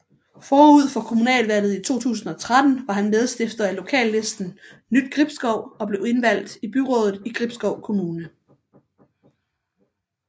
Forud for kommunalvalget i 2013 var han medstifter af lokallisten Nytgribskov og blev indvalgt i byrådet i Gribskov Kommune